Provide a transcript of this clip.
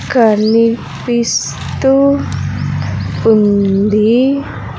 కనిపిస్తూ ఉంది.